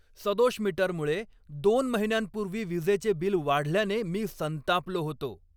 सदोष मीटरमुळे दोन महिन्यांपूर्वी विजेचे बिल वाढल्याने मी संतापलो होतो.